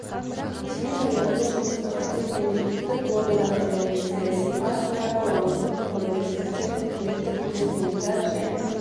сондай-ақ бұл жұмыстарға тек мемлекеттік органдар ғана емес саяси партиялар қоғамдық бірлестіктер үкіметтік емес ұйымдар және